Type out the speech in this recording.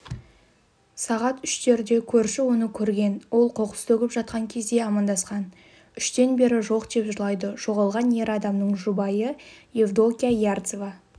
сағат үштерде көрші оны көрген ол қоқыс төгіп жатқан кезде амандасқан үштен бері жоқ деп жылайды жоғалған ер адамның жұбайыевдокия ярцева